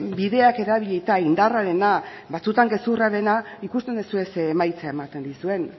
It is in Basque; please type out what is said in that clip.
bideak erabilita indarrarena batzuetan gezurrarena ikusten duzue ze emaitza ematen dizuen